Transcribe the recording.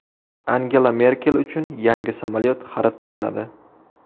Angela Merkel uchun yangi samolyot xarid qilinadi.